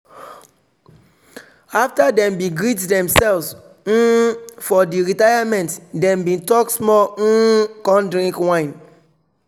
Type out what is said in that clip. after dem bin greet themselves um for di retirememnt dem bin talk small um con drink wine